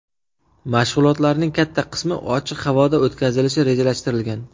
Mashg‘ulotlarning katta qismi ochiq havoda o‘tkazilishi rejalashtirilgan.